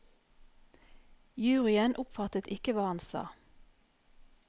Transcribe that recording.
Juryen oppfattet ikke hva han sa.